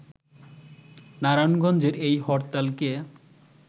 নারায়ণগঞ্জের এই হরতালকে